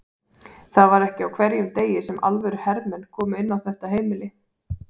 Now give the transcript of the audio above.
Það var ekki á hverjum degi sem alvöru hermenn komu inn á þetta heimili.